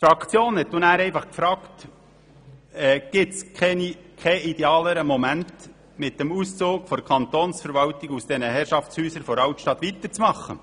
Die Fraktion fragte dann einfach, ob es keinen idealeren Moment gäbe, um mit dem Auszug der Kantonsverwaltung aus diesen Herrschaftshäusern in der Altstadt weiterzumachen.